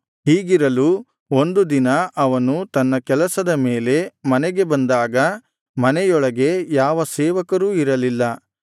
ಹೀಗಿರಲು ಒಂದು ದಿನ ಅವನು ತನ್ನ ಕೆಲಸದ ಮೇಲೆ ಮನೆಗೆ ಬಂದಾಗ ಮನೆಯೊಳಗೆ ಯಾವ ಸೇವಕರೂ ಇರಲಿಲ್ಲ